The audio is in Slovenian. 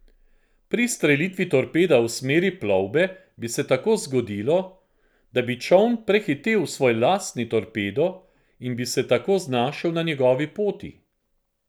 Pri izstrelitvi torpeda v smeri plovbe bi se tako zgodilo, da bi čoln prehitel svoj lastni torpedo in bi se tako znašel na njegovi poti.